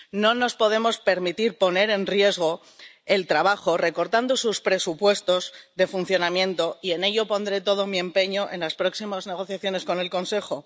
No nos podemos permitir poner en riesgo su trabajo recortando sus presupuestos de funcionamiento, y en ello pondré todo mi empeño en las próximas negociaciones con el Consejo.